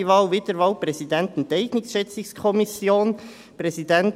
Achte Wahl: Wiederwahl des Präsidenten der Enteignungsschätzungskommission (ESchK).